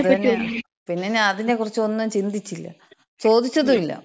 ങ്ങാ അത് തന്ന. പിന്നെ അതിനെക്കുറിച്ചൊന്നും ചിന്തിച്ചില്ല. ചോദിച്ചതുല്ല.